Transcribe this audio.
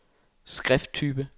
skrifttype